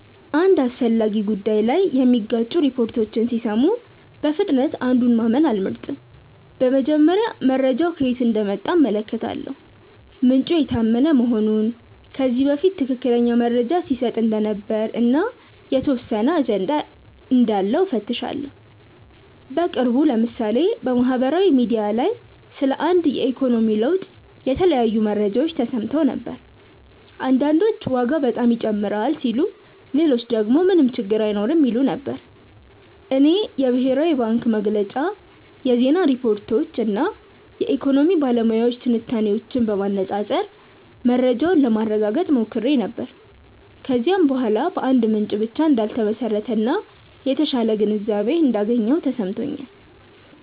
አንድ አስፈላጊ ጉዳይ ላይ የሚጋጩ ሪፖርቶችን ሲሰሙ በፍጥነት አንዱን ማመን አልመርጥም። በመጀመሪያ መረጃው ከየት እንደመጣ እመለከታለሁ፤ ምንጩ የታመነ መሆኑን፣ ከዚህ በፊት ትክክለኛ መረጃ ሲሰጥ እንደነበር እና የተወሰነ አጀንዳ እንዳለው እፈትሻለሁ። በቅርቡ ለምሳሌ በማህበራዊ ሚዲያ ላይ ስለ አንድ የኢኮኖሚ ለውጥ የተለያዩ መረጃዎች ተሰምተው ነበር። አንዳንዶች ዋጋ በጣም ይጨምራል ሲሉ ሌሎች ደግሞ ምንም ችግር አይኖርም ይሉ ነበር። እኔ የብሔራዊ ባንክ መግለጫ፣ የዜና ሪፖርቶች እና የኢኮኖሚ ባለሙያዎች ትንታኔዎችን በማነፃፀር መረጃውን ለማረጋገጥ ሞክሬ ነበር። ከዚያ በኋላ በአንድ ምንጭ ብቻ እንዳልተመሰረተ እና የተሻለ ግንዛቤ እንዳገኘሁ ተሰምቶኛል።